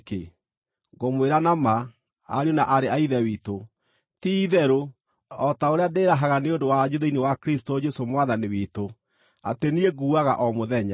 Ngũmwĩra na ma, ariũ na aarĩ a Ithe witũ, ti-itherũ, o ta ũrĩa ndĩĩrahaga nĩ ũndũ wanyu thĩinĩ wa Kristũ Jesũ Mwathani witũ, atĩ niĩ nguaga o mũthenya.